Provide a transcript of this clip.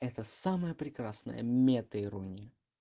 это самое прекрасное метаирония